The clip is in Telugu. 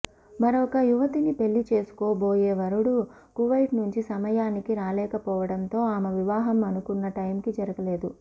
మరొక యువతిని పెళ్లిచేసుకోబోయే వరుడు కువైట్ నుంచి సమయానికి రాలేకపోవడంతో ఆమె వివాహం అనుకున్న టైమ్ కి జరగలేదు